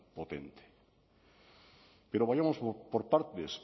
potente pero vayamos por partes